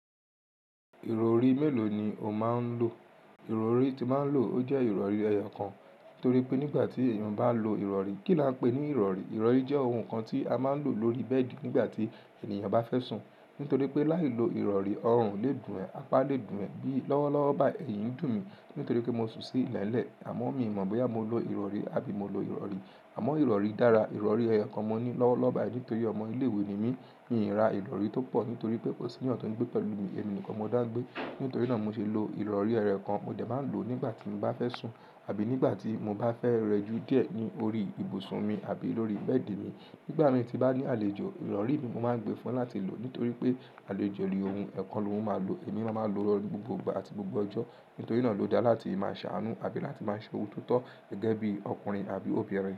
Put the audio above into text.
Ìrọ̀rí mélòó ni o máa ń lò? Ìrọ̀rí tí máa ń lò, ó jẹ́ ìrọ̀rí ẹyọ kan. Nítorí pé nígbà tí èèyàn bá lo ìrọ̀rí, kí la ń pè ní ìrọ̀rí? Ìrọ̀rí jẹ́ ohun kan tí a máa ń lò lórí bẹ́ẹ̀dì nígbà tí ènìyàn bá fẹ́ sùn. Nítorí pé láì lo ìrọ̀rí, ọrùn le dùn ẹ̀, apá le dùn ẹ̀. Bí lọ́wọ́ lọ́wọ́ báyi èyin dùn mí nítorí pé mo sùn sí ilẹ̀ẹ́lẹ̀, àmọ́ mi ò mọ̀ bóyá mo lo ìrọ̀rí àbí mo lo ìrọ̀rí. Àmọ́ ìrọ̀rí dára, ìrọ̀rí ẹyọ kan mo ní lọ́wọ́ lọ́wọ́ báyi nítorí ọmọ ilé-ìwé ni mí. Mi ò ra ìrọ̀rí tó pọ̀ nítorí pé kò sí ènìyàn tó ń gbé pẹ̀lú mi. Èmi nìkan mo dá gbé. Nítorí náà mo ṣe ń lo ìrọ̀rí ẹyo kan mo jẹ máa ń lò ó nígbà tí mo bá fẹ́ sùn àbí nígbà tí mo bá fẹ́ rẹjú díẹ̀ ní orí ibùsùn mi àbí lórí bẹ́ẹ̀dì mi. Nígbà mí tí bá ní àlejò, ìrọ̀rí mi mo máa ń gbé fún láti lò nítorí pé àlejò ní ohun, ẹ́ kan ló máa lò ó. Èmi máa máa lo ẹ̀ lọ gbogbo ìgbà àti gbogbo ọjọ́. Nítorí náà ló dáa láti máa ṣàánú àbí láti máa ṣe ohun tó tọ́ gẹ́gẹ́ bí ọkùnrin àbí obìnrin.